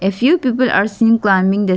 a few people are seen climbing the s--